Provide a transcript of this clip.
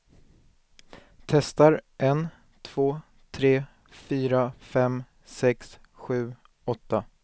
Testar en två tre fyra fem sex sju åtta.